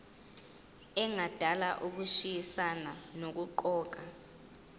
engadala ukushayisana nokuqokwa